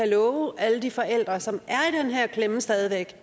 love alle de forældre som stadig væk